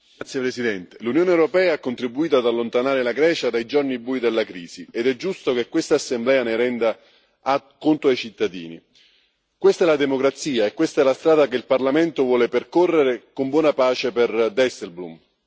Signor Presidente, onorevoli colleghi, l'Unione europea ha contribuito ad allontanare la Grecia dai giorni bui della crisi, ed è giusto che questa Assemblea ne renda conto ai cittadini. Questa è la democrazia, e questa è la strada che il Parlamento vuole percorrere, con buona pace per Dijsselbloem.